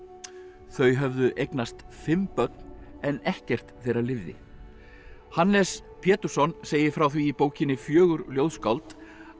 þau höfðu eignast fimm börn en ekkert þeirra lifði Hannes Pétursson segir frá því í bókinni fjögur ljóðskáld að